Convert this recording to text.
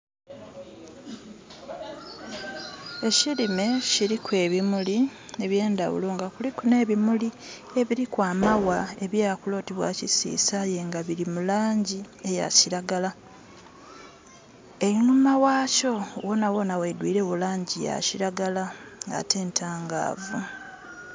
Ekilime kiliku ebimuli eby'endaghulo nga kuliku n'ebimuli ebiliku amagha, ebyakula oti bwa kisiisa aye nga bili mu laangi eya kiragala. Einhuma ghakyo ghona ghona ghaidhwilegho laangi ya kiragala, ate ntangaavu.